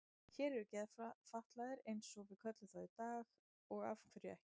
Hér eru geðfatlaðir eins og við köllum þá í dag og af hverju ekki?